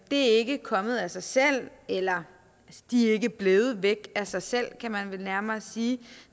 er ikke kommet af sig selv eller de er ikke blevet væk af sig selv kan man vel nærmere sige